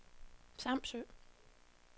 Samsø